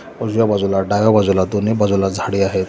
उजव्या बाजूला डाव्या बाजूला दोन्ही बाजूला झाडे आहेत.